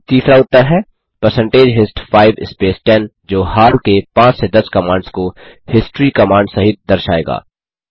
फिर तीसरा उत्तर है परसेंटेज हिस्ट 5 स्पेस 10 जो हाल के 5 से 10 कमांड्स को हिस्ट्री कमांड सहित दर्शाएगा